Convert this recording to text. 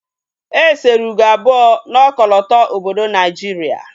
E sere ugo abụọ na ọkọlọtọ obodo Naijiria